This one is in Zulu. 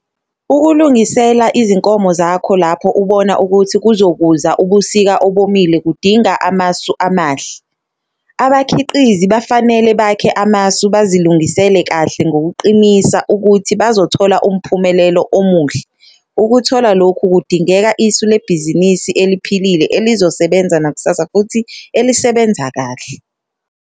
Ukulungisela izinkomo zakho lapho ubona ukuthi kuzokuza ubusika obomile kudinga amasu amahle. Abakhiqizi bafanele bakhe amasu bazilungisele kahle ngokuqinisa ukuthi bazothola umphumelelo omuhle - ukuthola lokhu kudingeka isu lebhizinisi eliphilile, elizosebenza nakusasa futhi elisebenza kahle.